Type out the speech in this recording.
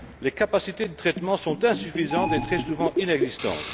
Les capacités de traitement sont insuffisantes et très souvent inexistantes.